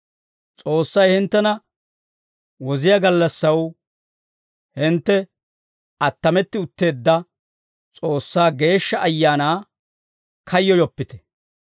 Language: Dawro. S'oossay hinttena woziyaa gallassaw hintte attametti utteedda S'oossaa Geeshsha Ayaanaa kayyoyoppite.